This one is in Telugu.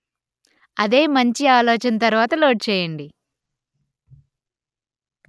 అదే మంచి ఆలోచన తరువాత లోడ్ చేయండి